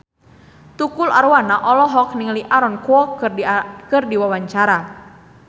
Tukul Arwana olohok ningali Aaron Kwok keur diwawancara